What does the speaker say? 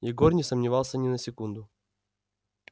егор не сомневался ни на секунду